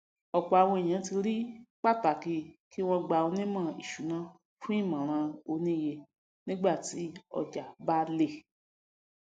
ọpọ àwọn ènìyàn ríi pataki kí wọn gbá onímọ ìṣúná fún ìmọràn oníye nígbà tí ojà bá lè